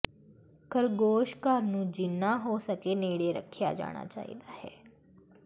ਖਰਗੋਸ਼ ਘਰ ਨੂੰ ਜਿੰਨਾ ਹੋ ਸਕੇ ਨੇੜੇ ਰੱਖਿਆ ਜਾਣਾ ਚਾਹੀਦਾ ਹੈ